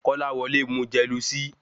Kolawole mu jelusìí